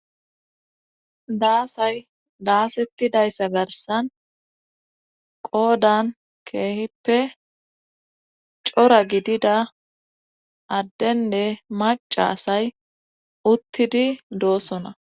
Daasay daasettidayssa garsan qoodan keehippe cora gidida addenne maca asay uttidi doosona.